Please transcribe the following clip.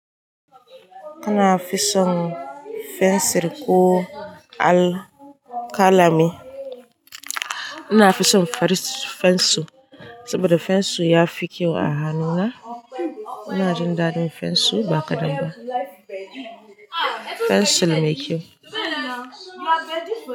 Ina fison fensir ko al-kalami. Ina fison fensir saboda fensir ya fi kyau a hannuna. Ina jin daɗin fensir ba kaɗan ba. Fensir mai kyau.